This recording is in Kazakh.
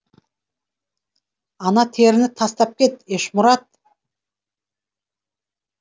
ана теріні тастап кет ешмұрат